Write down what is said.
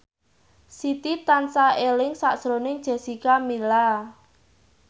Siti tansah eling sakjroning Jessica Milla